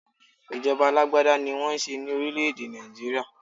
Ìjọba alágbádá ní wọ́n n ṣe ní orílè èdè Nigeria.